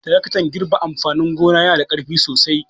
Taraktan girbe amfanin gona yana da ƙarfi sosai.